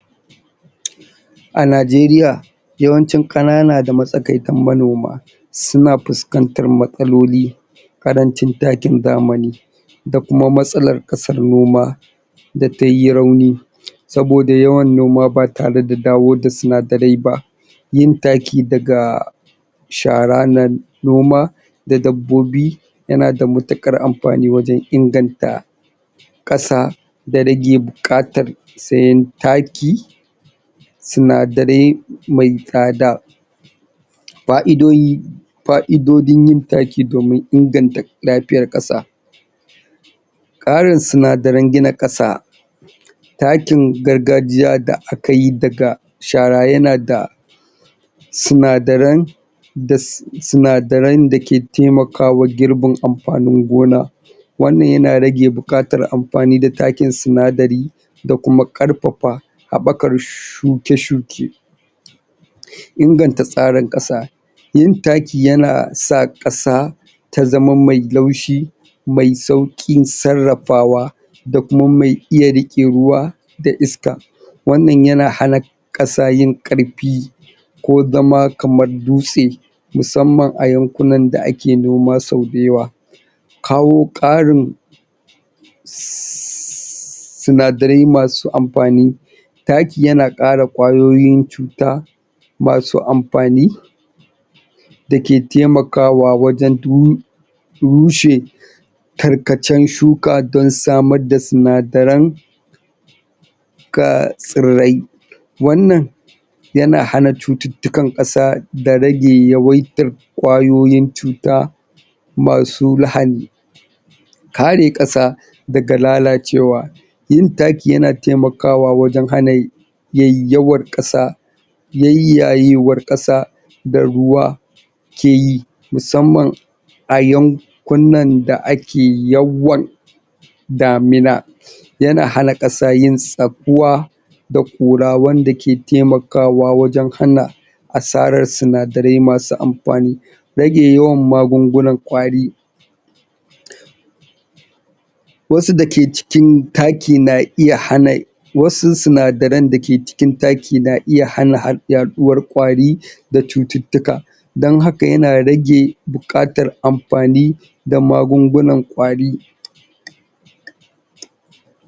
a najeriya kanana da matsakaitan manoma suna fuskantar matsaloli karancin takin zamani da kuma matsalar kasar noma da tayi rauni saboda yawan noma ba tare da dawo da sinadarai ba yin taki daga shara na noma da dabbobi yana da matukar amfani wajen inganta kasa da rage bukatar sayen taki sinadarai mai tsada fa'idodi yin taki domin inganta lafiyar noma karin sinadaran gina kasa takin gargajiya da akayi da shara yana da sinadaran dake taimakawa girbin amfanin gona wannan yana rage bukatar amfani da takin sinadari nda kuma karfafa habakar suke suke inganta tsarin kasa yin taki yana sa kasa ta zama mai laushi mai saukin sarrafawa da kuma mai iya rike ruwa da iska wannan yana hana kasa yin karfi ko zama kamar dutse musamman a yankunan da ake noma sau da yawa kawo karin sinadarai masu amfani taki yana kara cuta masu amfani dake taimakawa wajen rushe tarkacen suka don samar da sinadaran tsirrai nwannan yana hana cututtikan kasa da rage yawaitar kwayoyin cuta masu lahani kare kasa daga lalacewa yin taki yana taimakawa wajen hana yayyawar kasa yayyayewar kasa da ruwa keyi musamman a yankunan da ake yawan damina yana hana kasa yin tsakkuwa da kura wanda ke taimakawa wajen hana asarar sinadarai masu amfani rage yawan magungunan kwari wasu dake cikin taki na iya hana wasu sinadaran dake cikin taki na iya hana yaduwar kwari da cutittuka don haka yana rage bukatar amfani da magun gunan kwari